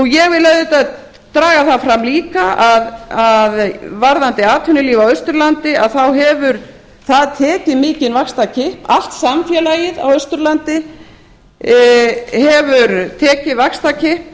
ég vil auðvitað draga það fram líka að varðandi atvinnulíf á austurlandi þá hefur það tekið mikinn vaxtarkipp allt samfélagið á austurlandi hefur tekið vaxtarkipp